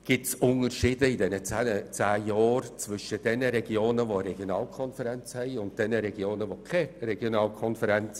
Entwickelten sich während dieser zehn Jahre Unterschiede zwischen den Regionen mit Regionalkonferenz und denjenigen ohne Regionalkonferenz?